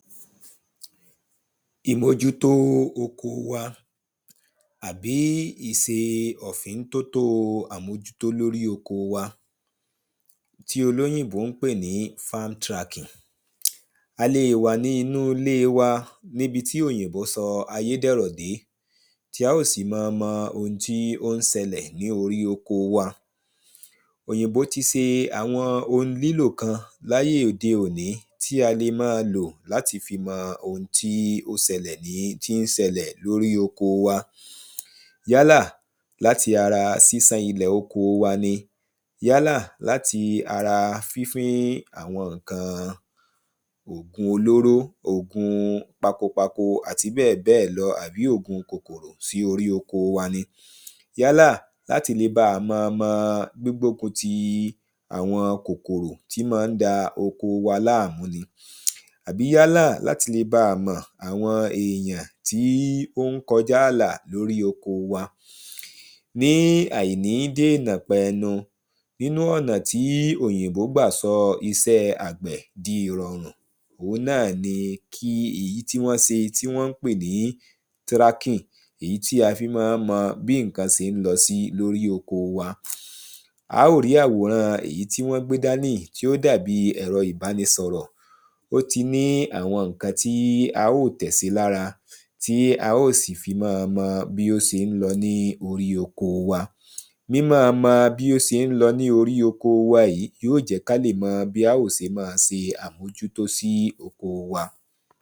Ìmòʤútó oko wa àbí ìse ọ̀fíntótó àmójútó oko wa tí olóyìnbó ń pè ní farm tracking. A lè wà ní inú ilé wa níbi tí òyìnbó sọ ayé dẹ̀rọ̀ dé tí á ó sì mọ mọ ohun tí ó ń ṣẹlẹ̀ ní orí oko wa. Òyìnbó ti se àwọn ohun lílò kan láyé òde òní tí a le mọ́ lọ̀ láti fi mọ ohun tí ó sẹlẹ̀ ní tí ń sẹlẹ̀ ní orí oko wa. Yálà láti ara sísán ilẹ̀ oko wa Yálà láti ara fínfín àwọn nǹkan òògun olóró òògun pako pako àti bẹ́ẹ̀ bẹ́ẹ̀ lọ àbí òògun kòkòrò sí orí oko wa ni yálà láti lè bá má mọ gbígbokun ti àwọn kòkòrò tí má nda oko wa láàmú ni àbí yálà láti lè bá mọ àwọn èyàn tí ó ń kọjá là lórí oko wa. Ní àìní dèyàn pẹnu nínú ọ̀nà tí òyìnbó gbà sọ iṣẹ́ àgbẹ̀ di ìrọ̀rùn ohun náà ni èyí tí wọ́n ń se tí wọ́n ń pè ní tracking èyí tí a fi mọ́ ń mọ bí nǹkan sé ń lọ sí lórí oko wa. Á ó rí àwòrán èyí tí wọ́n gbé dání yìí tí ó dàbí ẹ̀rọ ìbánisọ̀rọ̀ ó ti ní àwọn nǹkan tí a ó tẹ̀ sí lára tí a ó sì fi mọ́ mọ bí ó sé ń lọ ní orí oko wa mímọ́ mọ bí ó sé ń lọ ní orí oko wa yìí yó jẹ́ ká lè mọ bí á ó se mọ́ se àmójútó sí oko wa.